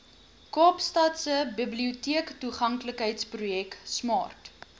kaapstadse biblioteektoeganklikheidsprojek smart